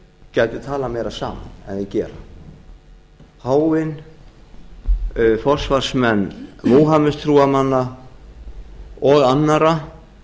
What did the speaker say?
gætu talað meira saman en þeir gera páfinn forsvarsmenn múhameðstrúarmanna og annarra